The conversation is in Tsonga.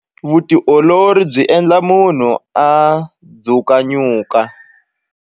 Vutiolori byi endla munhu a dzukanyuku.